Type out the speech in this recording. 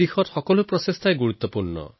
প্ৰতিটো প্ৰয়াস মহত্বপূৰ্ণ